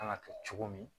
Kan ka kɛ cogo min